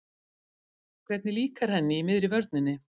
Hvernig líkar henni í miðri vörninni?